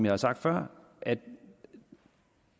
har sagt før at